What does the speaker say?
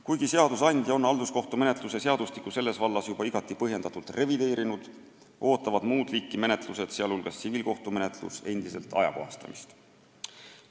Kuigi seadusandja on halduskohtumenetluse seadustikku selles vallas juba igati põhjendatult revideerinud, ootavad muud liiki kohtumenetlused, sh tsiviilkohtumenetlus, endiselt ajakohastamist.